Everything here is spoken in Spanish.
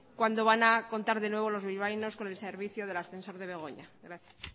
cuándo van a contar de nuevo los bilbaínos con el servicio del ascensor de begoña gracias